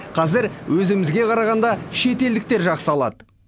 қазір өзімізге қарағанда шетелдіктер жақсы алады